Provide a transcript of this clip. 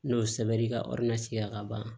N'o sɛbɛn ka sigi la ka ban